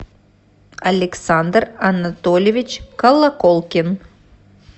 александр анатольевич колоколкин